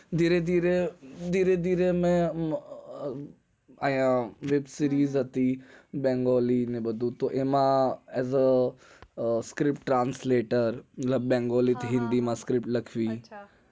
ધીરે ધીરે હું web series હતી બંગાળી માં script translator લખવી